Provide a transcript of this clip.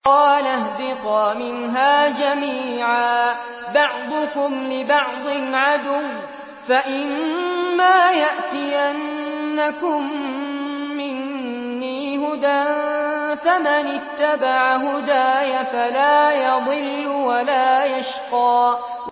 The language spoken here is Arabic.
قَالَ اهْبِطَا مِنْهَا جَمِيعًا ۖ بَعْضُكُمْ لِبَعْضٍ عَدُوٌّ ۖ فَإِمَّا يَأْتِيَنَّكُم مِّنِّي هُدًى فَمَنِ اتَّبَعَ هُدَايَ فَلَا يَضِلُّ وَلَا يَشْقَىٰ